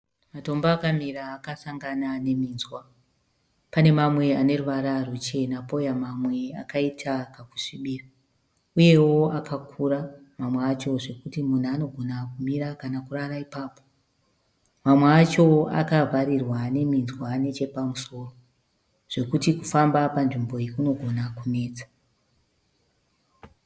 Matombo akamira akasangana neminzwa. Pane mamwe ane ruvara ruchena pouya mamwe akaita kakusvibira uyewo akakura mamwe acho zvokuti munhu anogona kumira kana kurara ipapo. Mamwe acho akavharirwa neminzwa nechepamusoro zvokuti kufamba panzvimbo iyi kunogona kunetsa.